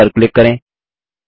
save पर click करें